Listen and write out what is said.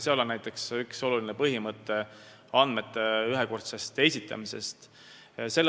Selles on üks oluline põhimõte andmete ühekordne esitamine.